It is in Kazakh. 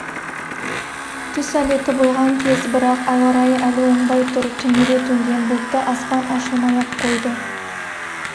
түс әлеті болған кез бірақ ауа райы әлі оңбай тұр түнере төнген бұлтты аспан ашылмай-ақ қойды